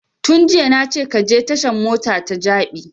Tun jiya na ce ka je tashan mota ta jabi